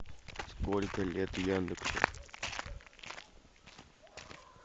сколько лет яндексу